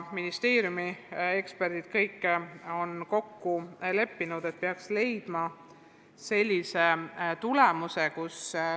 Ministeeriumi eksperdid on kokku leppinud, et peaks saavutama konsensusliku tulemuse.